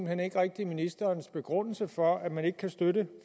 hen ikke rigtig ministerens begrundelse for at man ikke kan støtte